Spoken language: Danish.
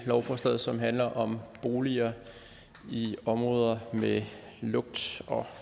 lovforslaget som handler om boliger i områder med lugt